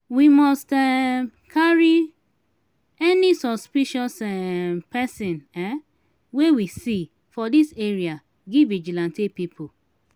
we must um carry any suspicious um person um wey we see for dis area give vigilante pipu.